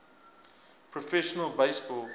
professional base ball